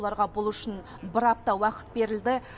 оларға бұл үшін бір апта уақыт берілді